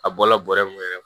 A bɔla bɔrɛ mun yɛrɛ